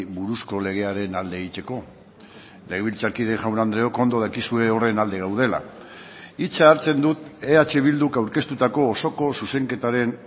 buruzko legearen alde egiteko legebiltzarkide jaun andreok ondo dakizue horren alde gaudela hitza hartzen dut eh bilduk aurkeztutako osoko zuzenketaren